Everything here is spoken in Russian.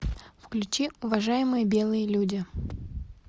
включи уважаемые белые люди